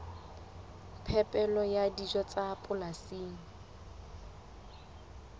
phepelo ya dijo tsa polasing